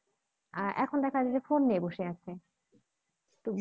আর এখন দেখা যাচ্ছে যে phone নিয়ে বসে আছে